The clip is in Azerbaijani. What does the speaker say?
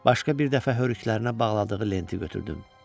Başqa bir dəfə hörüklərinə bağladığı lenti götürdüm.